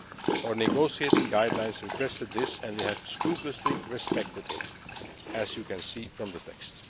Our negotiating guidelines requested this and we have scrupulously respected it, as you can see from the